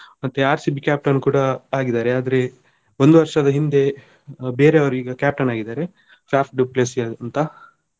ಮತ್ತೆ RCB captain ಕೂಡ ಆಗಿದ್ದಾರೆ ಆದ್ರೆ ಒಂದು ವರ್ಷದ ಹಿಂದೆ ಬೇರೆಯವರು ಈಗ captain ಆಗಿದ್ದಾರೆ ಫಾಫ್ ಡು ಪ್ಲೆಸಿಸ್ ಅಂತ.